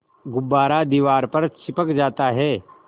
गुब्बारा दीवार पर चिपक जाता है